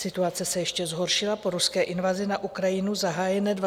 Situace se ještě zhoršila po ruské invazi na Ukrajinu zahájené 24. února.